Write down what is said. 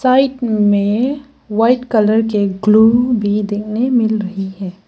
Right में white colour की glue भी देखने मिल रही है।